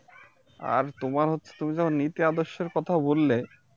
আর তোমার হচ্ছে তুমি যখন নীতি আদর্শের কথাও বললে